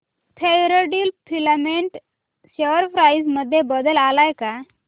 Fairdeal filament share price मध्ये बदल आलाय का